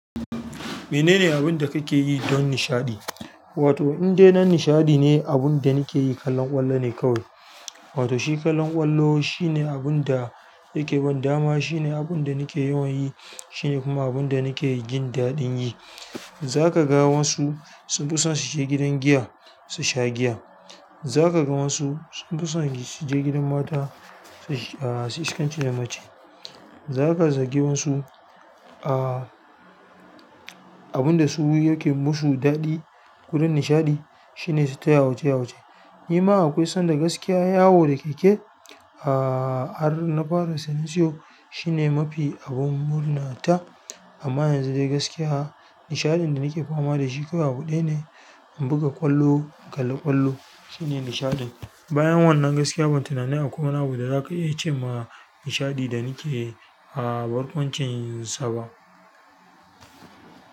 Menene abin da kake yi don nishaɗi? Wato indai don nishaɗi ne abun da nakeyi. Kallon ƙwallo ne kawai. Wato shi kallon ƙwallo shi ne abunda yake ban dama shi ne abun da nake yawan yi shi ne kuma abun da nake jin daɗin yi zakaga wassu sunfi so su shiga gidan giya su sha giya zakaga wassu sunfi son su je gidan mata sush- a suyi iskanci da mace zaka zagi wasu, ah abun da su yake musu daɗi wurin nishaɗi shine su ta yawace yawace. Ni ma akwai san da gaskiya yawo da keke, ah har na fara sani shiyo shine mafi abun murna ta. Amma yanzu dai gaskiya nishaɗin da nake fama da shi kawai abu ɗaya ne. In buga ƙwallo, in kalla ƙwallo shine nishaɗin. Bayan wannan gaskiya ban tunani akwai wani abu da zaka iya ce wa nishaɗi da nake a barkwancin yisa ba.